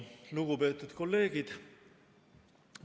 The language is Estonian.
Lugupeetud kolleegid!